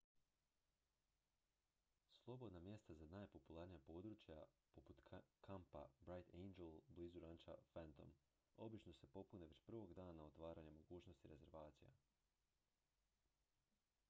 slobodna mjesta za najpopularnija područja poput kampa bright angel blizu ranča phantom obično se popune već prvog dana otvaranja mogućnosti rezervacija